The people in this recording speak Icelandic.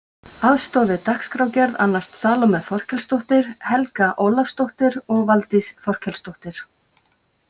Aðstoð við dagskrárgerð annast Salóme Þorkelsdóttir, Helga Ólafsdóttir og Valdís Þorkelsdóttir.